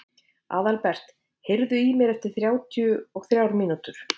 Aðalbert, heyrðu í mér eftir þrjátíu og þrjár mínútur.